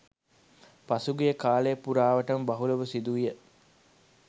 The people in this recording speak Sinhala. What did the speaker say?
පසුගිය කාලය පුරාවටම බහුලව සිදුවිය